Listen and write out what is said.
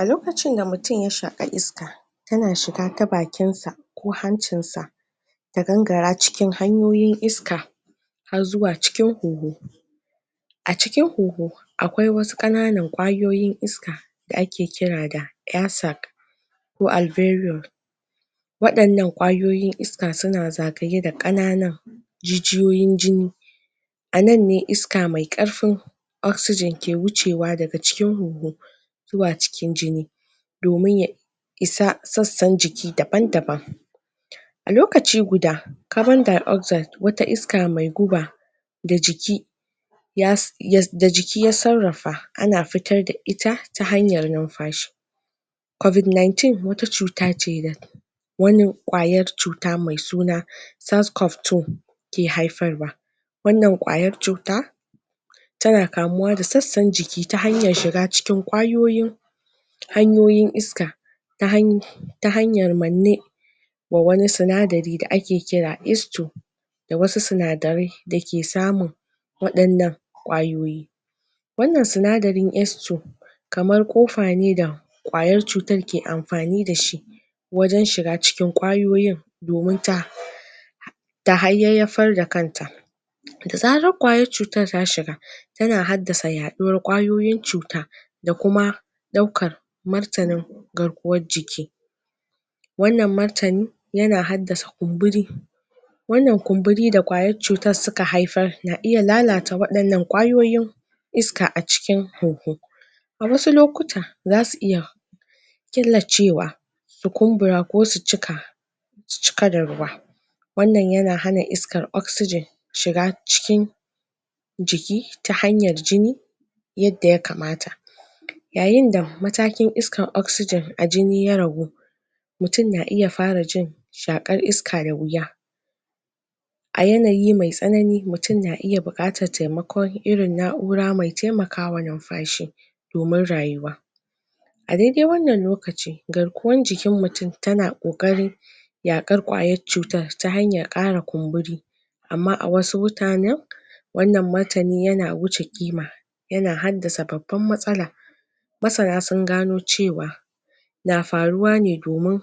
A lokacin da mutum ya shaka iska, tana shiga ta bakin sa ko hancin sa ta gangara cikin hanyoyin iska har zuwa cikin huhu. A cikin huhu akwai wasu kananan kwayoyin iska da ake kira da ko wadannan kwayoyin iska suna zagaye da kananan jijiyoyin jini a nan ne iska me karfin oxygen ke wucewa daga cikin huhu zuwa cikin jini domin ya isa sasan jiki daban daban. A lokaci guda, carbondioxide wata irin iska me guba, da jiki ya, da jiki ya tsarafa, ana fitar da ita ta hanyar numfashi covid nineteen wata cuta ce wani kayar cuta me suna ke haifarwa wannan kwayar cuta, tana kamuwa da tsasan jiki ta hanyar shiga cikin kwayoyi hanyoyin iska ta han ta hanyar manne ma wani sunadari da ake kira da wasu sunadarai da ke samu wadannan kwayoyi. wannan sunadarin kamar kofa ne da kwayar cutan ke amfani da shi waje shiga cikin kwayoyin domin ta ta hayayafar da kanta. Da zaran kwayan cutan ta shiga, tana haddasa yaduwan kwayoyin cuta, da kuma daukar garkuwan jiki. Wannan martani yana haddasa kumburi wannan kumburi da kwayan cutar suka haifar na iya lalata wadannan kwayoyin iska a cikin huhu A wasu lokuta za su iya killacewa su kumbura ko su cika su cika da ruwa wannan yana hana iskar oxygen shiga cikin jiki ta hanyar jini yadda ya kamata yayin da matakin iskan oxygen a jini ya ragu, mutum na iya fara jin shakar iska da wuya a yanayi me tsanani, mutum na iya bukatan taimako, irin na'ura me taimakawa numfashi domin rayuwa A daidai wannan lokaci, garkuwan jikin mutum tana kokari yakar kwayar cutar ta hanyar kara kumburi amma a wasu wannan matani yana wuce kima yana haddasa babban matsala masana sun gano cewa, na faruwa ne domin